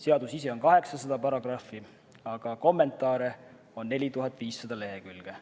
Seadustikus on peaaegu 800 paragrahvi, aga kommentaare on 4500 lehekülge.